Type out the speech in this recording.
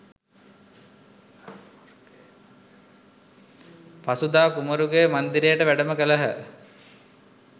පසුදා කුමරුගේ මන්දිරයට වැඩම කළහ.